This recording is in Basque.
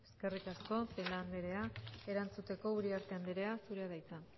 eskerrik asko celaá anderea erantzuteko uriarte anderea zurea da hitza